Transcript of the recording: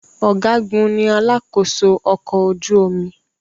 Ọ̀gágun ní alakósó ọkọ̀ ojú omi.